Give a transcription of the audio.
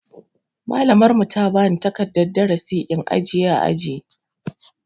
Malamin mu ta bani takardan darasi in ajiye ã aji.